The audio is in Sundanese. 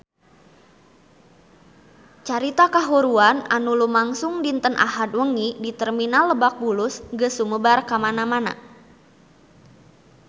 Carita kahuruan anu lumangsung dinten Ahad wengi di Terminal Lebak Bulus geus sumebar kamana-mana